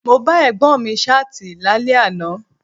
Mo bá Ẹ̀gbọ́n mi Ṣáàtì lálẹ́ àná